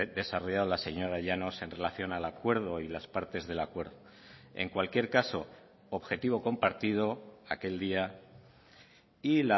desarrollado la señora llanos en relación al acuerdo y las partes del acuerdo en cualquier caso objetivo compartido aquel día y